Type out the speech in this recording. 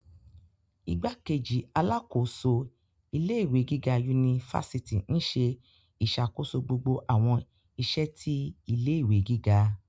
Igbákejì alákòóso ilé ìwé gíga unifásitì nṣe iṣakoso gbogbo awọn iṣẹ ti ilé ìwé gíga